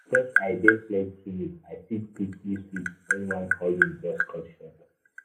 because i dey flexible i fit quickly switch when one hustle just cut short.